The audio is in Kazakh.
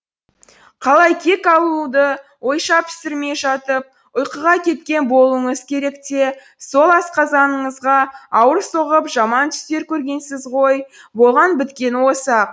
қалай кек алуды ойша пісірмей жатып ұйқыға кеткен болуыңыз керек те сол асқазаныңызға ауыр соғып жаман түстер көргенсіз ғой болған біткені осы ақ